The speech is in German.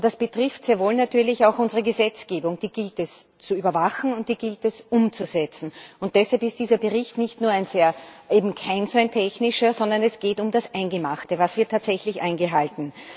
Und das betrifft sehr wohl natürlich auch unsere Gesetzgebung, die gilt es zu überwachen und die gilt es umzusetzen. Und deshalb ist dieser Bericht eben kein technischer, sondern es geht um das Eingemachte Was wird tatsächlich eingehalten?